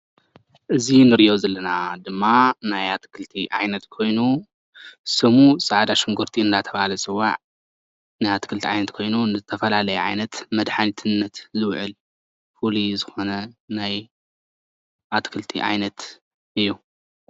እዚ ንርእዮ ዘለና ድማ ናይ ኣትክልቲ ዓይነት ኮይኑ ስሙ ፃዕዳ ሽንጉርቲ እናተባሃለ ዝፅዋዕ ናይ ኣትክልቲ ዓይነት ኮይኑ ንዝተፈላለየ ዓይነት መድሓኒትነት ዝውዕል ፍሉይ ዝኾነ ናይ ኣትክልቲ ዓይነት እዩ።